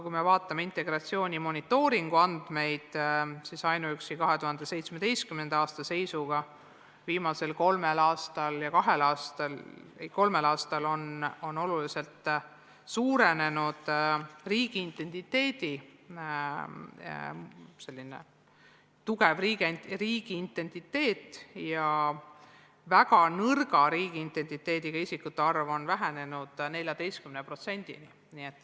Kui me aga vaatame integratsiooni monitooringu andmeid, siis ainuüksi 2017. aasta seisuga on viimasel kahel-kolmel aastal oluliselt suurenenud tugev riigiidentiteet ja väga nõrga riigiidentiteediga isikute arv on vähenenud 14%-ni.